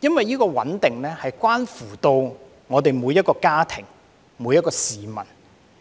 因為穩定關乎每個家庭、每名市民。